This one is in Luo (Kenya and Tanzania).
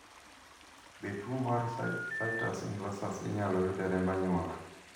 be tuo mar situs inversus inyalo yud e remb anyuola ?